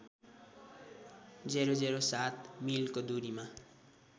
००७ मिलको दूरीमा